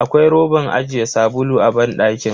Akwai roban ajiye sabulu a banɗakin.